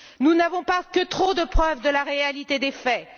Nous n'avons que trop de preuves de la réalité des faits.